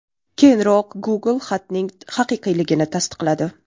Keyinroq Google xatning haqiqiyligini tasdiqladi.